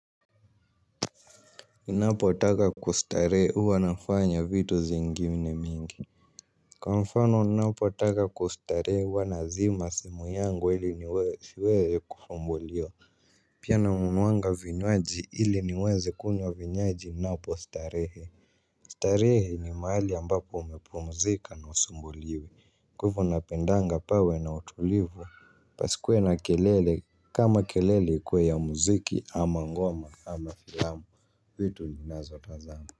Napotaka kustarehe huwa nafanya vitu zingine mingi. Kwa mfano napotaka kustarehe huwa nazima simu yangu ili niweche siweze kusumbulia. Pia nanunuanga vinywaji ili niweze kunywa vinywaji napo starehe. Starehe ni mahali ambapo umepumzika na husumbuliwi kwa hivo napendanga pawe na utulivu. Pasikuwe na kelele kama kelele ikuwe ya muziki ama ngoma ama filamu vitu tunazotazama.